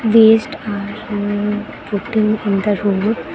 Waste are putting in the road.